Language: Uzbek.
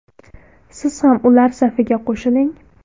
Siz ham ular safiga qo‘shiling!